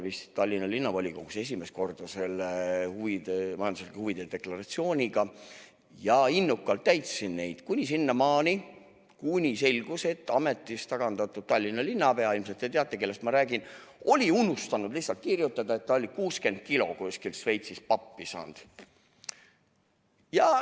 Mina tutvusin majanduslike huvide deklaratsiooniga esimest korda vist 2005. aastal Tallinna Linnavolikogus olles ja innukalt täitsin neid kuni sinnamaani, kui selgus, et ametist tagandatud Tallinna linnapea – ilmselt te teate, kellest ma räägin – oli lihtsalt unustanud kirjutada, et ta oli kuskilt Šveitsist 60 kilo pappi saanud.